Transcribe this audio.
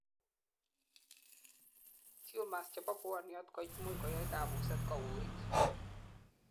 tumors chebo pwoniot koimuch koyai kabuset kowuuit